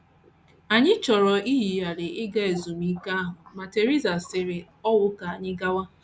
Anyị chọrọ iyigharị ịga ezumike ahụ, ma Theresa siri ọnwụ ka anyị gawa.